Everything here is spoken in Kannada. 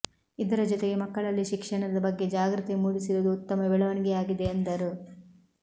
ಇದರ ಜೊತೆಗೆ ಮಕ್ಕಳಲ್ಲಿ ಶಿಕ್ಷಣದ ಬಗ್ಗೆ ಜಾಗೃತಿ ಮೂಡಿಸಿರುವುದು ಉತ್ತಮ ಬೆಳವಣಿಗೆಯಾಗಿದೆ ಎಂದರು